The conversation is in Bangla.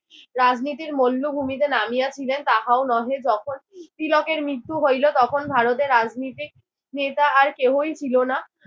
রাজনীতির মল্লভূমিতে নামিয়াছিলেন তাহাও নহে। যখন তিলকের মৃত্যু হইল তখন ভারতের রাজনীতিক নেতা আর কেউই ছিল না।